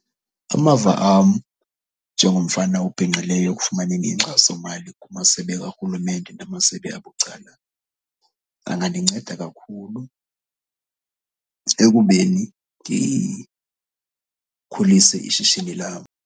Amava am njengomfana obhinqileyo ekufumaneni inkxasomali kumasebe karhulumente namasebe abucala, angandinceda kakhulu ekubeni ndikhulise ishishini lam.